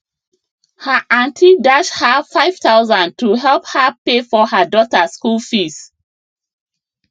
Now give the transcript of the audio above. her aunty dash her 5000 to help her pay for her daughter school fees